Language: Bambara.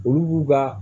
Olu b'u ka